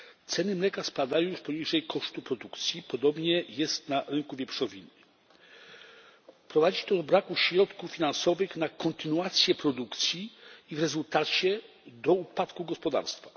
Ceny mleka spadają już poniżej kosztów produkcji, podobnie jest na rynku wieprzowiny. Prowadzi to do braku środków finansowych na kontynuację produkcji i w rezultacie do upadku gospodarstw.